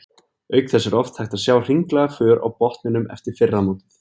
Auk þess er oft hægt að sjá hringlaga för á botninum eftir fyrra mótið.